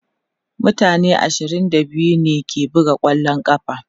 mutane ashirin da biyu ne ke buga kwallon ƙafa